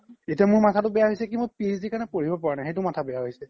এতিয়া মোৰ কি হৈছে মোৰ PhD কাৰনে পঢ়িব পাৰা নাই সেইতো মাথা বেয়া হৈছে